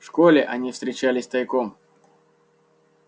в школе они встречались тайком